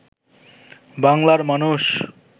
বাংলার মানুষ